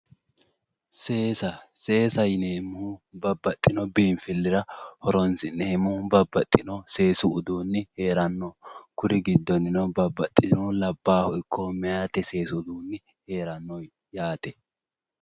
Seesaw seesaw yineemmohu babbaxino biinfillira horoonsi'neemmoho babbaxino seesu uduunni heeranno kuri giddonnino babbaxino labbaha ikko meyati seesu Dani heeranno yaate.